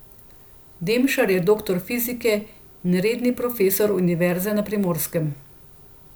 Demšar je doktor fizike in redni profesor Univerze na Primorskem.